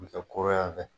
U bɛ kɛ koro yan fɛ